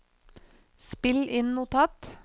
spill inn notat